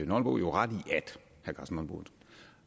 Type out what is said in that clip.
nonbo jo ret